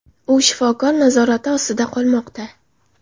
U shifokor nazorati ostida qolmoqda.